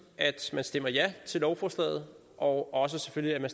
at man stemmer ja til lovforslaget og og selvfølgelig